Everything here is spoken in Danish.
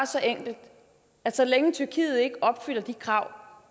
så enkelt at så længe tyrkiet ikke opfylder de krav